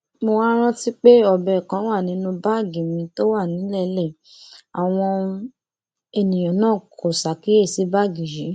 mo wáá rántí pé ọbẹ kan wà nínú báàgì mi tó wà nílẹẹlẹ àwọn èèyàn náà kò ṣàkíyèsí báàgì yìí